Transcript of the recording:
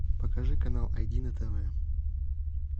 покажи канал ай ди на тв